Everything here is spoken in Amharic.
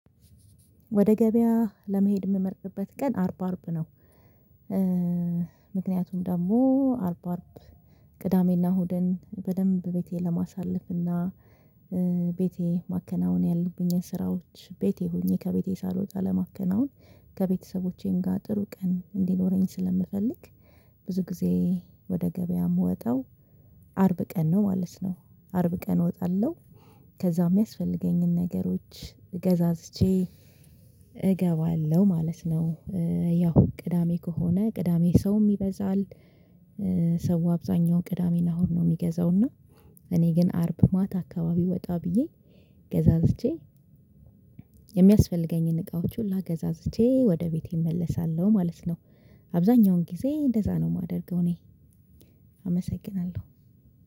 ወደ ገበያ ለመሄድ የምመርጥበት ቀን አርባ አርብ ነው። ምክንያቱም ደግሞ አርብ አርብ ቅዳሜና ሁደን በደንብ ቤቴ ለማሳለፍና ቤቴ ማከናወን ያለብኝን ስራዎች ቤቴ ሆኜ ከቤቴ ሳልወጣ ለማከናወን ከቤተሰቦቼም ጋር ጥሩ ቀን እንዲኖረኝ ስለምፈልግ ብዙ ጊዜ ወደ ገበያ የምወጣው አርብ ቀን ነው ማለት ነው። አርብ ቀን እወጣለሁ ከዛ የሚያስፈልገኝን ነገሮች እገዛዝቼ እገባለሁ ማለት ነው። ያው ቅዳሜ ከሆነ ቅዳሜ ሰውም ይበዛል። አብዛኛው ቅዳሜን አሁን ነው የሚገዛው እና። እኔ ግን አርብ ማት አካባቢ ወጣ ብዬ ገዛዝቼ የሚያስፈልገኝን እቃዎች ሁላ ገዛዝቼ ወደ ቤቴ እመለሳለሁ ማለት ነው። አብዛኛውን ጊዜ እንደዛ ነው የማደርገው እኔ። አመሰግናለሁ